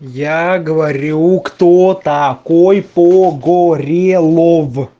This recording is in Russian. я говорю кто такой погорелов